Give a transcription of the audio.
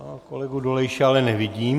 Pana kolegu Dolejše ale nevidím.